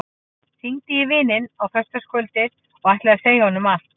Hringdi í vininn á föstudagskvöldið og ætlaði að segja honum allt.